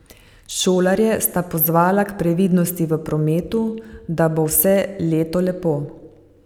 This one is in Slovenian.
Šolarje sta pozvala k previdnosti v prometu, da bo vse leto lepo.